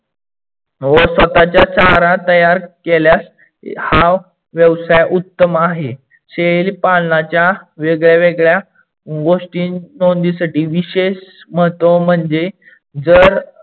व स्वताचा चारा तयार केल्यास हा व्यवसाय उत्तम आहे. शेळीपालनाच्या वेगड्यावेगड्या गोष्टी नोंदीसाठी विशेष महत्व म्हणजे जर